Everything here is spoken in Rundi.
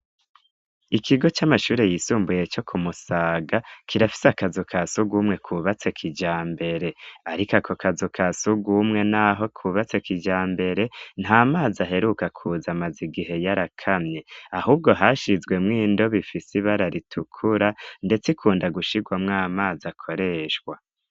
Ikigo c'amashure yisumbuye co kumusaga kirafise akazu ka sugwa umwe kubatse kija mbere, ariko ako kazu ka suga umwe, naho kubatse kija mbere nta mazi aheruka kuzamaza igihe yarakamye ahubwo hashizwemwo indobifise ibara ritukura, ndetse ikunda gushirwamwo amazi o koreshwa.